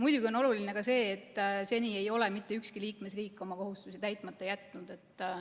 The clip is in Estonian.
Muidugi on oluline ka see, et seni ei ole mitte ükski liikmesriik oma kohustusi täitmata jätnud.